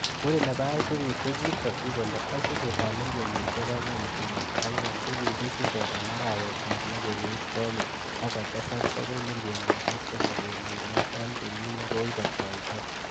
Muren nebo aisurut kokitokyi kole aisurutab milionisiek angwan kenuch angwan kokikisire en arawetab loo kenyit konye akotesak bokoi milionisiek somok kenuch loo en kenyi nekibotoitoi.